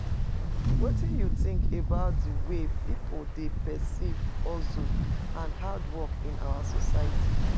wetin you think about di way people dey perceive hustle and hard work in our society?